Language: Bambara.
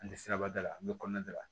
An tɛ siraba da la an bɛ kɔnɔna da la